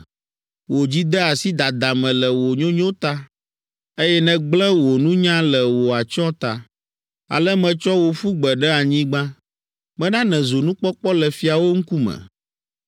Wò dzi de asi dada me le wò nyonyo ta, eye nègblẽ wò nunya le wò atsyɔ̃ ta. Ale metsɔ wò ƒu gbe ɖe anyigba. Mena nèzu nukpɔkpɔ le fiawo ŋkume